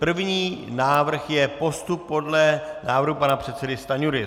První návrh je postup podle návrhu pana předsedy Stanjury.